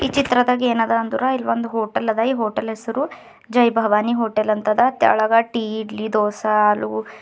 ಈ ಚಿತ್ರದಾಗ್ ಏನ್ ಅದ ಅಂದ್ರ ಇಲ್ಲಿ ಒಂದು ಹೋಟೆಲ್ ಅದ ಈ ಹೋಟೆಲ್ ಹೆಸರು ಜೈ ಭವಾನಿ ಹೋಟೆಲ್ ಅಂತದ ತೆಳಗ ಟೀ ಇಡ್ಲಿ ದೋಸೆ ಆಲೂ --